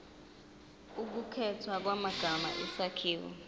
ukukhethwa kwamagama isakhiwo